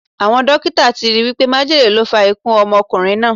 Awọn dokita ti ri wipe májèlé ló fa ikú ọmọkunrin naa